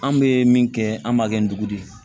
An bɛ min kɛ an b'a kɛ ndugu de ye